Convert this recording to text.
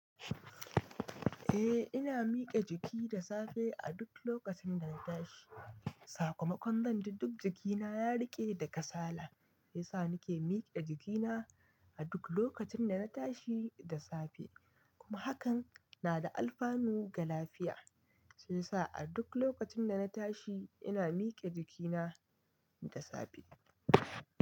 Eh ina mike jiki da safe a duk lokacin da na tashi. Sakamakon zan ji duk jikina ya riƙe da kasala shiyasa nake mike jikina a duk lokacin da na tashi da safe. Kuma hakan nada alfanu ga lafiya, shi yasa a duk lokacin da na tashi ina mike jikina da safe.